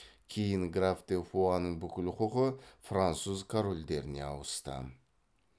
кейін граф де фуаның бүкіл құқы француз корольдеріне ауысты